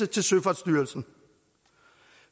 til søfartsstyrelsen